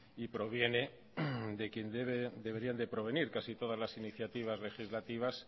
y proviene de quien deberían de provenir casi todas las iniciativas legislativas